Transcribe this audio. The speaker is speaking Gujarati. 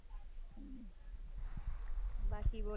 સરસ ચાલો.